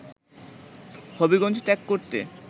হবিগঞ্জ ত্যাগ করতে